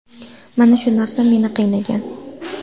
Mana shu narsa meni qiynagan.